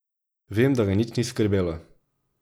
Vem, da ga nič ni skrbelo.